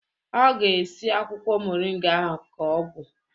Ọ ga-esi akwụkwọ moringa ahụ ka ọgwụ.